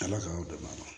Ala k'aw dɛmɛ